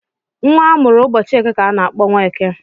Nwa amụrụ ụbọchị eke kà a n'akpọ Nweke.